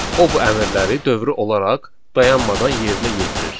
O bu əmrləri dövrü olaraq dayanmadan yerinə yetirir.